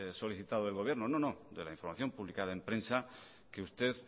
solicitado al gobierno no no de la información publicada en prensa que usted